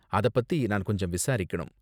அத பத்தி நான் கொஞ்சம் விசாரிக்கணும்.